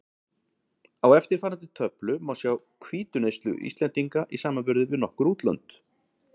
Á eftirfarandi töflu má sjá hvítuneyslu Íslendinga í samanburði við nokkur útlönd.